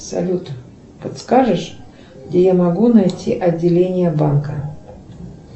салют подскажешь где я могу найти отделение банка